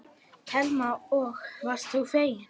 Telma: Og varst þú feginn?